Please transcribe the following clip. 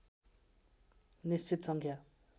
निश्चित सङ्ख्या